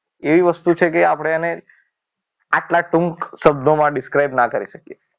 એવી વસ્તુ છે કે આપણે આટલા ટૂંક શબ્દોમાં describe ન કરી શકે.